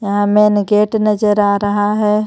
यहां main gate नजर आ रहा है.